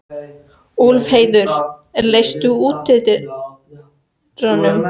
Úlfheiður, læstu útidyrunum.